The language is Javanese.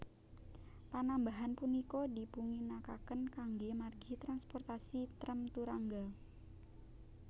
Panambahan punika dipunginakaken kanggé margi transportasi trèm turangga